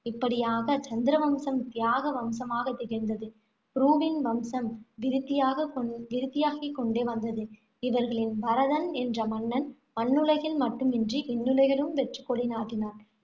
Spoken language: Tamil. இப்படியாக சந்திரவம்சம் தியாக வம்சமாகத் திகழ்ந்தது. புருவின் வம்சம் விருத்தியாக விருத்தியாகிக் கொண்டே வந்தது. இவர்களின் பரதன் என்ற மன்னன், மண்ணுலகில் மட்டுமின்றி, விண்ணுலகிலும் வெற்றிக்கொடி நாட்டினான்.